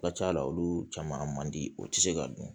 Ka ca la olu caman man di o tɛ se ka dun